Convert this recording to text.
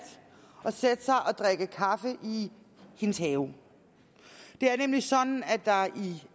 at sætte sig og drikke kaffe i hendes have det er nemlig sådan